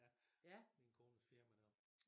Ja min kones firma der